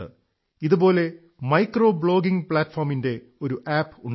ഇതുപോലെ micro blogging പ്ലാറ്റ്ഫോമിന്റെ ഒരു ആപ് ഉണ്ട്